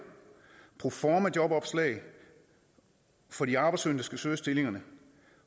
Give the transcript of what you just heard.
proformajobopslag og for de arbejdssøgende der skal søge stillingerne